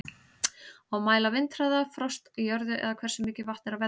Á að mæla vindhraða, frost í jörðu eða hversu mikið vatn er á vellinum?